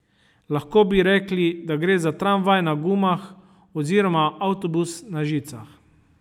Lahko bi rekli, da gre za tramvaj na gumah oziroma avtobus na žicah.